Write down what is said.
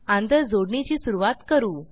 आंतरजोडणीची सुरूवात करू